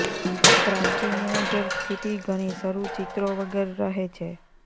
પ્રાપ્તિ મેનેજર સ્થિતિ ઘણી શરૂ ચિત્રો વગર રહે છે